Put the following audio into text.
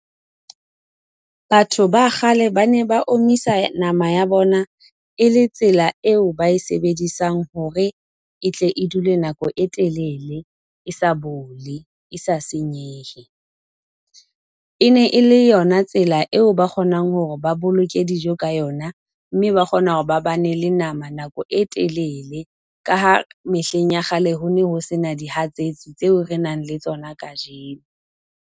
Batho ba kgale ba ne ba omisa nama ya bona e le tsela eo ba e sebedisang hore e tle e dule nako e telele e sa bole e sa senyehe. E ne e le yona tsela eo ba kgonang hore ba boloke dijo ka yona, mme ba kgona hore ba bane le nama nako e telele ka ha mehleng ya kgale ho ne ho sena dihatsetsi tseo re nang le tsona kajeno.